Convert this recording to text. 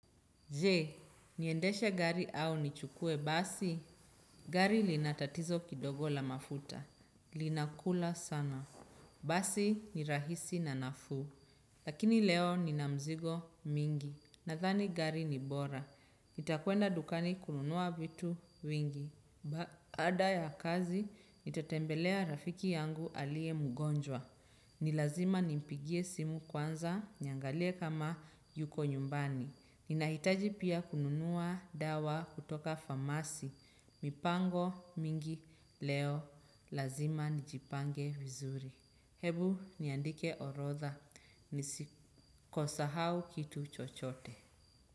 Je, niendesha gari au nichukue basi? Gari lina tatizo kidogo la mafuta. Linakula sana. Basi ni rahisi na nafuu. Lakini leo nina mizigo mingi. Nadhani gari ni bora. Nitakuenda dukani kununua vitu vingi. Baada ya kazi, nitatembelea rafiki yangu aliye mgonjwa. Nilazima nimpigie simu kwanza, niangalie kama yuko nyumbani. Ninahitaji pia kununua dawa kutoka famasi. Mipango mingi leo lazima nijipange vizuri. Hebu, niandike orodha. Nisikosahau kitu chochote.